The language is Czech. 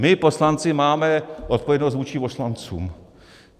My poslanci máme odpovědnost vůči poslancům.